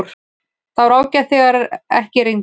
Það var ágætt þegar ekki rigndi.